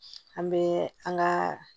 An bɛ an ka